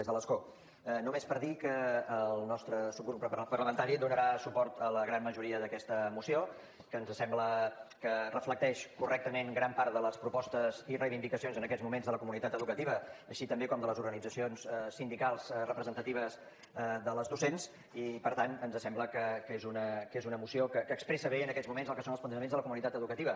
des de l’escó només per dir que el nostre subgrup parlamentari donarà suport a la gran majoria d’aquesta moció que ens sembla que reflecteix correctament gran part de les propostes i reivindicacions en aquests moments de la comunitat educativa així també com de les organitzacions sindicals representatives de les docents i per tant ens sembla que és una moció que expressa bé en aquests moments el que són els plantejaments de la comunitat educativa